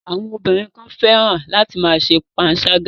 Àwọn ọbìnrin kan fẹ́ràn láti ma ṣe panṣágà.